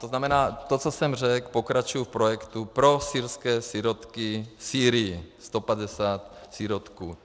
To znamená, to, co jsem řekl, pokračuji v projektu pro syrské sirotky v Sýrii - 150 sirotků.